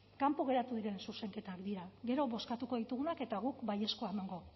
kanpo geratu diren zuzenketak dira gero bozkatuko ditugunak eta guk baiezkoa emango